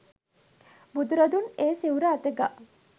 බුදුරදුන් ඒ සිවුර අත ගා